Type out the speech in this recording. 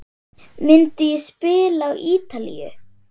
Myndi ég spila á Ítalíu?